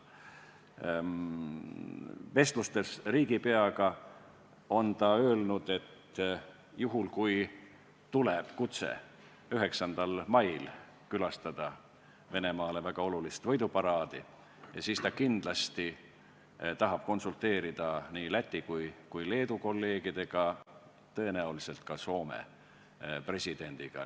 President Kaljulaid on öelnud, et juhul, kui tuleb kutse külastada 9. mail Venemaa jaoks väga olulist võiduparaadi, siis kindlasti tahab ta konsulteerida nii Läti kui ka Leedu kolleegidega, tõenäoliselt ka Soome presidendiga.